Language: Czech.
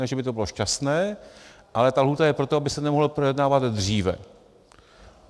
Ne že by to bylo šťastné, ale ta lhůta je proto, aby se to mohlo projednávat dříve.